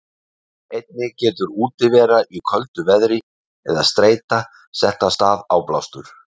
Einnig getur útivera í köldu veðri eða streita sett af stað áblástur.